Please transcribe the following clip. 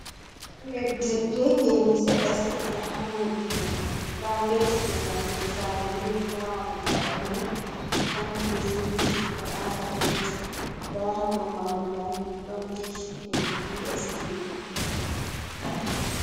Leddi be ngene seɗɗa seɗɗa, haa leddi mai nda get je nassugo saare milik, nda mahol saare mai ɗo tanki be siminti waɗaaka penti, nda ha dow mahol mai ɗon dish jee DS tivi.